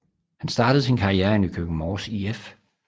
Han startede sin karriere i Nykøbing Mors IF